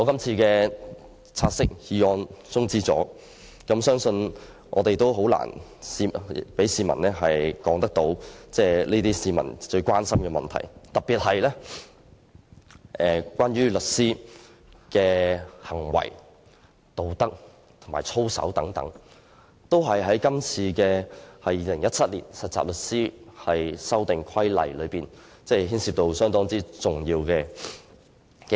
如果"察悉議案"的討論被中止待續，相信我們很難向市民解釋他們關注的問題，特別是有關律師的行為和道德操守方面，而這些都是今次這項附屬法例涉及的重要部分。